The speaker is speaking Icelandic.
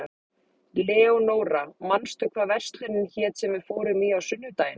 Leonóra, manstu hvað verslunin hét sem við fórum í á sunnudaginn?